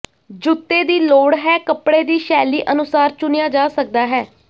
ਜੁੱਤੇ ਦੀ ਲੋੜ ਹੈ ਕੱਪੜੇ ਦੀ ਸ਼ੈਲੀ ਅਨੁਸਾਰ ਚੁਣਿਆ ਜਾ ਸਕਦਾ ਹੈ